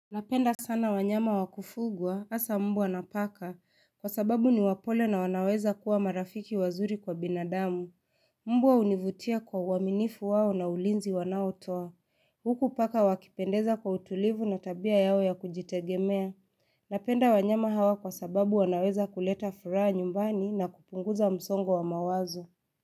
Napenda sana wanyama wa kufugwa, hasa mbwa na paka. Kwa sababu ni wapole na wanaweza kuwa marafiki wazuri kwa binadamu. Mbwa hunivutia kwa uaminifu wao na ulinzi wanaotoa. Huku paka wakipendeza kwa utulivu na tabia yao ya kujitegemea. Napenda wanyama hawa kwa sababu wanaweza kuleta furaha nyumbani na kupunguza msongo wa mawazo.